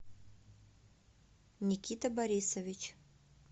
никита борисович